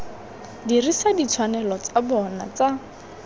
dirisa ditshwanelo tsa bona tsa